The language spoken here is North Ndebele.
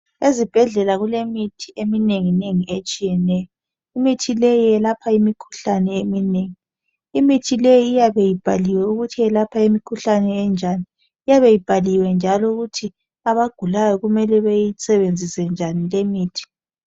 Ezibhedlela kulemithi eminengi nengi etshiyeneyo imithi le iyelapha imikhuhlane eminengi imithi leyi iyabe ibhaliwe ukuthi iyelapha imikhuhlane enjani eyabe ibhaliwe njalo ukuthi abagulayo kumele bayisebenzise njani le imithi.